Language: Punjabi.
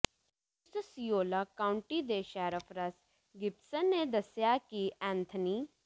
ਓਸਸਿਓਲਾ ਕਾਊਂਟੀ ਦੇ ਸ਼ੈਰਿਫ ਰਸ ਗਿਬਸਨ ਨੇ ਦੱਸਿਆ ਕਿ ਐਂਥਨੀ